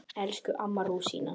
Elsku amma rúsína.